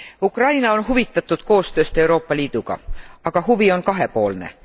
Ukraina on huvitatud koostööst Euroopa Liiduga, aga huvi on kahepoolne.